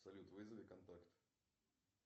салют вызови контакт